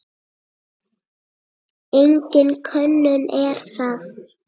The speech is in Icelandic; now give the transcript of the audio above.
Engin könnun er það.